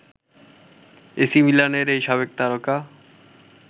AC মিলানের এই সাবেক তারকা